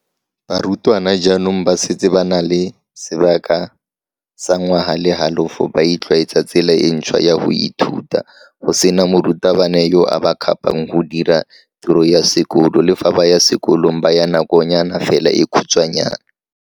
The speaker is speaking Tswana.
Barutwana jaanong ba setse ba na le sebaka sa ngwaga le halofo ba itlwaetsa tsela e ntšhwa ya go ithuta, go sena morutabana yo a ba kgapang go dira tiro ya sekolo le fa ba ya sekolong ba ya nakonyana fela e khutshwanyana.